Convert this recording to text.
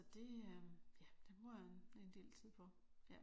Så det ja det bruger jeg en del tid på